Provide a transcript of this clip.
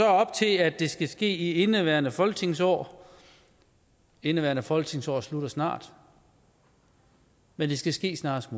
op til at det skal ske i indeværende folketingsår indeværende folketingsår slutter snart men det skal ske snarest